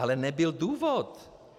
Ale nebyl důvod.